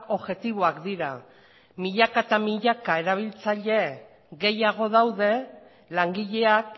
objektiboak dira milaka eta milaka erabiltzaile gehiago daude langileak